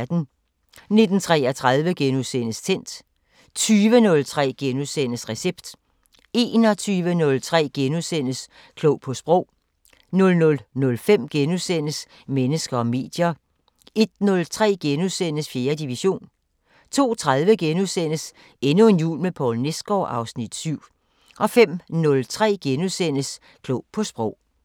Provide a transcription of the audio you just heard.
19:33: Tændt * 20:03: Recept * 21:03: Klog på Sprog * 00:05: Mennesker og medier * 01:03: 4. division * 02:30: Endnu en jul med Poul Nesgaard (Afs. 7)* 05:03: Klog på Sprog *